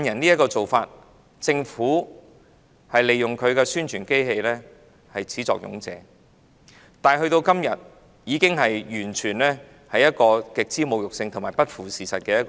政府是始作俑者，利用其宣傳機器提出"綜援養懶人"的說法，但時至今日，這種說法完全是極之侮辱和不符事實的。